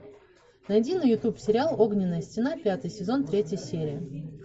найди на ютуб сериал огненная стена пятый сезон третья серия